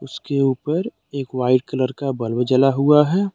इसके ऊपर एक वाइट कलर का बल्ब जला हुआ है।